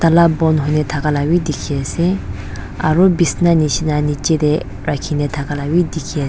tala bon hoine thaka labi dikhiase aro bisna nishina niche tey rakhina thaka labi dikhias--